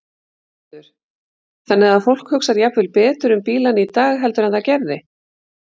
Höskuldur: Þannig að fólk hugsar jafnvel betur um bílana í dag heldur en það gerði?